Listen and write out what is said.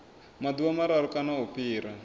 maḓuvha mararu kana u fhira